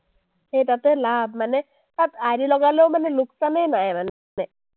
সেই তাতে লাভ মানে তাত ID লগালেও মানে লোকচানেই নাই মানে।